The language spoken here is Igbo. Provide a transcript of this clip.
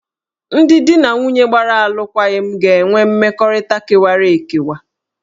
Ndị di na nwunye gbara alụkwaghịm ga-enwe mmekọrịta kewara ekewa